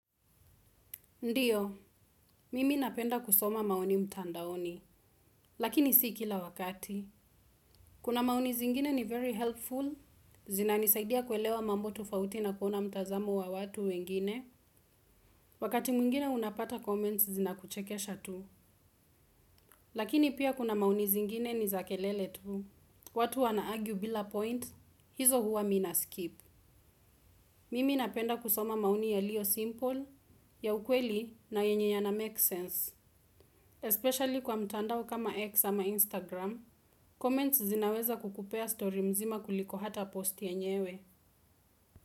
Ndiyo, mimi napenda kusoma maoni mtandaoni, lakini si kila wakati. Kuna maoni zingine ni very helpful, zina nisaidia kuelewa mambo tofauti na kuona mtazamo wa watu wengine. Wakati mwingine unapata comments zina kuchekesha tu. Lakini pia kuna maoni zingine ni zakelele tu. Watu wanaargue bila point, hizo huwa mimina skip. Mimi napenda kusoma maoni yaliyo Simple, ya ukweli na yenye ya na make sense. Especially kwa mtandao kama X ama Instagram Comments zinaweza kukupea story mzima kuliko hata post yenyewe.